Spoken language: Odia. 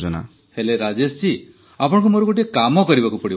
ହେଲେ ରାଜେଶ ଜୀ ଆପଣଙ୍କୁ ମୋର ଗୋଟିଏ କାମ କରିବାକୁ ହେବ